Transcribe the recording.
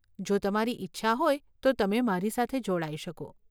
જો તમારી ઈચ્છા હોય તો તમે મારી સાથે જોડાઈ શકો.